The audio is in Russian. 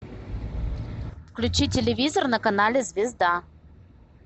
включи телевизор на канале звезда